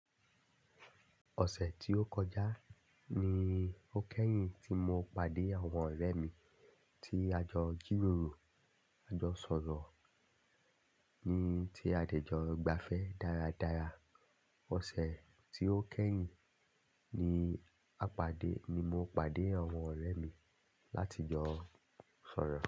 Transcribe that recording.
Ọ̀sẹ̀ tí ó kọjá ni ó kẹ́yìn tí mo pàdé àwọn ọ̀rẹ́ mi tí a jọ jìròrò. A jọ sọ̀rọ̀ ni ti adẹ̀ jọ gbafẹ́ dáradára. Ọ̀sẹ̀ tí ó kẹ́yìn ni a pàdé ni mo pàdé àwọn ọ̀rẹ́ mi láti jọ sọ̀rọ̀